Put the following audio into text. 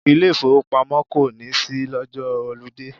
Ilé ìfowópamọ́ kò ní ṣí lọ́jọ́ họludé.